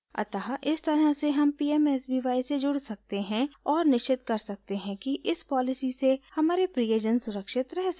अतः इस तरह से हम pmsby से जुड़ सकते हैं और निश्चित कर सकते हैं कि इस पॉलिसी से हमारे प्रियजन सुरक्षित रह सकें